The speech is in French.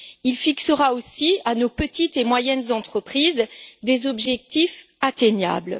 Il fixera aussi à nos petites et moyennes entreprises des objectifs accessibles.